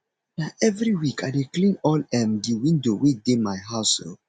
na every week i dey clean all um di window wey dey my house um